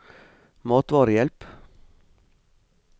matvarehjelp